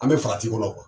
An bɛ farati kɔnɔ